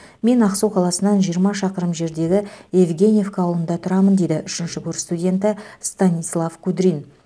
мен ақсу қаласынан жиырма шақырым жердегі евгеньевка ауылында тұрамын дейді үшінші курс студенті станислав кудрин